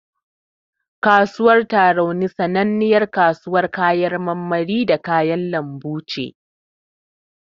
Kasuwar Tarauni sananniyar kasuwar kayan marmari da kayan lambu ce.